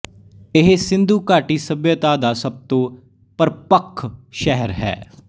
ਇਹ ਸਿੰਧੂ ਘਾਟੀ ਸੱਭਿਅਤਾ ਦਾ ਸਭ ਤੋਂ ਪ੍ਰਪੱਕ ਸ਼ਹਿਰ ਹੈ